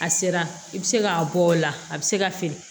A sera i bɛ se k'a bɔ o la a bɛ se ka feere